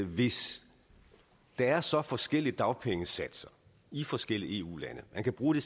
hvis der er så forskellige dagpengesatser i forskellige eu lande kan bruge det